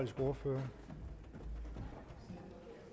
sproget